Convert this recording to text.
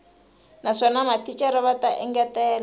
naswona mathicara va ta engetela